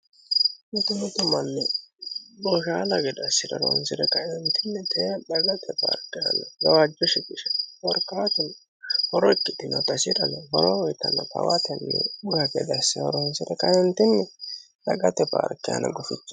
mitumitu manni boshaala gede assire horonsire ka"eenitinni tee dagate paarike anna gawaajjo shiqishe korkaatuno horo ikkitinota isirano horo ikkirinota tawaatenni bura gede asse horonisira dagate paarke aana guficho